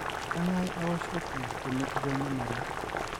kengae aoshoki tenepuku enyamali?